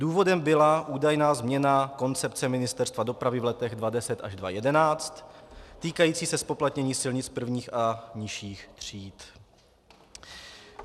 Důvodem byla údajná změna koncepce Ministerstva dopravy v letech 2010 až 2011 týkající se zpoplatnění silnic prvních a nižších tříd.